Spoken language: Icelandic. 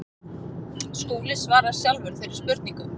Skúli svarar sjálfur þeirri spurningu.